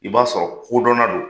I b'a sɔrɔ kodɔnna don.